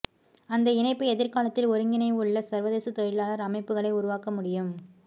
அந்த இணைப்பு எதிர்காலத்தில் ஒருங்கிணைவுள்ள சர்வதேச தொழிலாளர் அமைப்புகளை உருவாக்க முடியும்